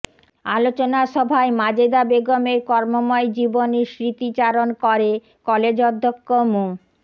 আলোচনা সভায় মাজেদা বেগমের কর্মময় জীবনের স্মৃতিচারণ করে কলেজ অধ্যক্ষ মো